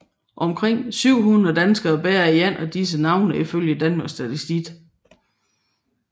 Omkring 700 danskere bærer et af disse navne ifølge Danmarks Statistik